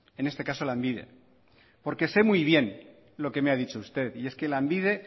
en este caso lanbide porque sé muy bien lo que me ha dicho usted y es que lanbide